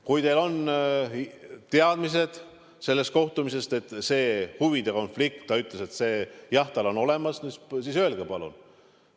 Kui teil on tänu sellele kohtumisele teadmine, et ta ütles, et jah, huvide konflikt on olemas, siis öelge palun.